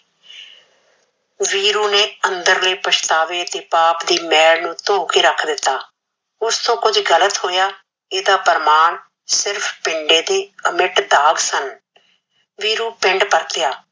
ਵੀਰੂ ਨੇ ਅੰਦਰਲੇ ਪਛਤਾਵੇ ਦੇ ਪਾਪ ਦੀ ਮੈਲ ਨੂ ਥੋ ਕੇ ਰਖ ਦਿਤਾ ਓਸ ਤੋਂ ਕੁਜ ਗਲਤ ਹੋਯਾ ਇਹ ਦਾ ਪ੍ਰਮਾਣ ਸਿਰਫ ਪਿੰਡੇ ਦੀ ਅਮਿਟ ਤਾਕ ਸਨ ਵੀਰੂ ਪਿੰਡ ਪਰਤਿਆ